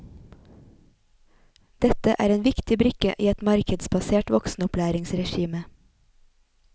Dette er en viktig brikke i et markedsbasert voksenopplæringsregime.